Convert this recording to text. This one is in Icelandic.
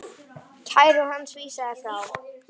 Kæru hans var vísað frá.